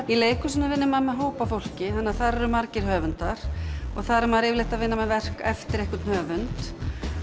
í leikhúsinu vinnur maður með hóp af fólki þannig að þar eru margir höfundar og þar er maður yfirleitt að vinna verk eftir einhvern höfund